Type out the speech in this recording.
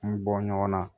N bɔ ɲɔgɔn na